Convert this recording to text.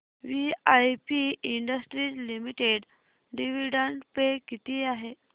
VIP industries limited dividend pay किती आहे